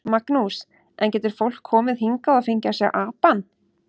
Magnús: En getur fólk komið hingað og fengið að sjá apann?